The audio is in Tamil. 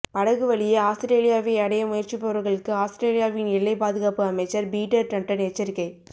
படகு வழியே ஆஸ்திரேலியாவை அடைய முயற்சிப்பவர்களுக்கு ஆஸ்திரேலியாவின் எல்லைப் பாதுகாப்பு அமைச்சர் பீட்டர் டட்டன் எச்சரிக்கை